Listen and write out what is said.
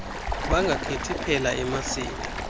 bangakhethi phela emasini